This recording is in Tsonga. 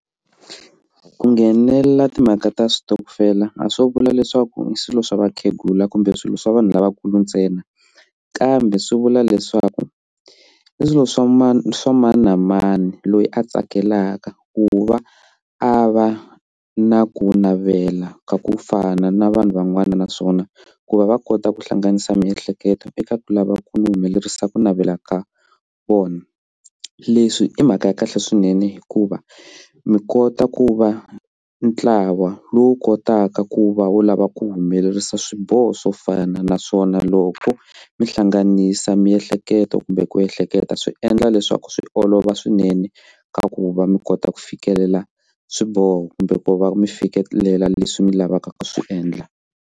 Ku nghenela timhaka ta switokofela a swo vula leswaku swilo swa vakhegula kumbe swilo swa vanhu lavakulu ntsena kambe swi vula leswaku i swilo swa mani swa mani na mani loyi a tsakelaka ku va a va na ku navela ka ku fana na vanhu van'wana naswona ku va va kota ku hlanganisa miehleketo eka ku lava ku humelerisa ku navela ka vona leswi i mhaka ya kahle swinene hikuva mi kota ku va ntlawa lowu kotaka ku va wu lava ku humelerisa swiboho swo fana naswona loko mi hlanganisa miehleketo kumbe ku ehleketa swi endla leswaku swi olova swinene ku va mi kota ku fikelela swiboho kumbe ku va mi fikelela leswi mi lavaka ku swi endla.